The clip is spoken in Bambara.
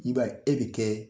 I b'a ye, e bi kɛ